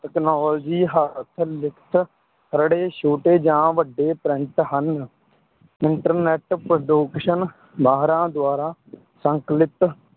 Technology ਹੱਥ ਲਿਖਤ ਖਰੜੇ, ਛੋਟੇ ਜਾਂ ਵੱਡੇ print ਹਨ l Internet production ਮਾਹਰਾਂ ਦੁਆਰਾ ਸੰਕਲਿਤ